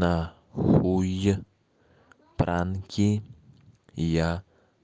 на хуй пранки я